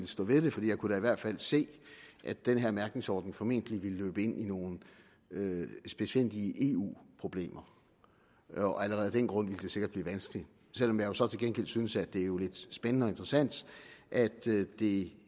stå ved det for jeg kunne da i hvert fald se at den her mærkningsordning formentlig ville løbe ind i nogle spidsfindige eu problemer og allerede af den grund ville det sikkert blive vanskeligt selv om jeg så til gengæld synes at det jo er lidt spændende og interessant at det